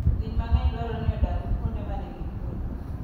Winy mang'eny dwarore ni odag kuonde ma nigi kuwe.